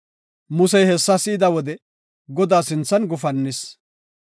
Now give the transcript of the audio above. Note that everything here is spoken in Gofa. Musey hessa si7ida wode Godaa sinthan gufannis.